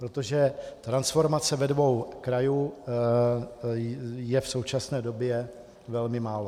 Protože transformace ve dvou krajích je v současné době velmi málo.